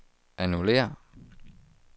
annullér